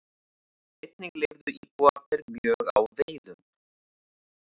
Einnig lifðu íbúarnir mjög á veiðum.